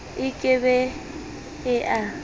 e ke be e e